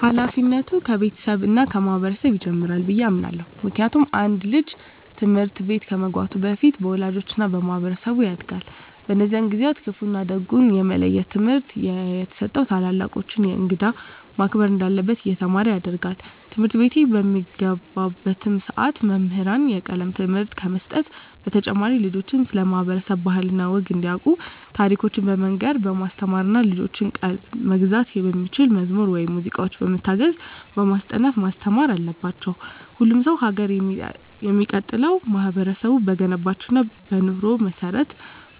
ሀላፊነቱ ከቤተሰብ እና ከማህበረሰብ ይጀምራል ብየ አምናለሁ። ምክንያቱም አንድ ልጅ ትምህርት ቤት ከመግባቱ በፊት በወላጆቹ እና በማህበረሰቡ ያጋድል። በእነዚህ ጊዜአትም ክፋ እና ደጉን የመለየት ትምህርት እየተሰጠው ታላላቆቹን፣ እንግዳን ማክበር እንዳለበት እየተማረ ያድጋል። ትምህርትቤት በሚገባባትም ሰዓት መምህራን የቀለም ትምህርትን ከመስጠት በተጨማሪ ልጆችን ስለ ማህበረሰብ ባህል እና ወግ እንዲያቁ ታሪኮችን በመናገር በማስተማር እና የልጆችን ቀልብ መግዛት በሚችሉ መዝሙር ወይም ሙዚቃዎች በመታገዝ በማስጠናት ማስተማር አለባቸው። ሁሉም ሰው ሀገር የሚቀጥለው ማህበረቡ በገነባቸው እና በኑሮ መሰረት